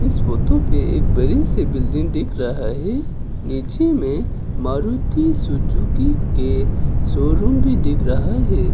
इस फोटो पे एक बड़े से बिल्डिंग दिख रहा है। नीचे में मारुति सुजुकी के शोरूम भी दिख रहा है।